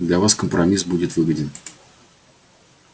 для вас компромисс будет выгоден